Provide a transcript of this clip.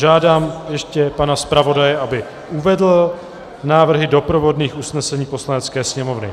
Žádám ještě pana zpravodaje, aby uvedl návrhy doprovodných usnesení Poslanecké sněmovny.